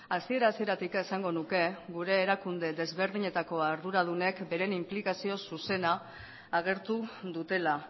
hasiera hasieratik esango nuke gure erakunde ezberdinetako arduradunek bere inplikazio zuzena agertu dutela